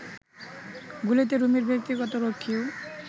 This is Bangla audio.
গুলিতে রুমির ব্যক্তিগত রক্ষীও